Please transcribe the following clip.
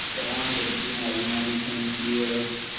जवान लड़की मारी मारी घूमती है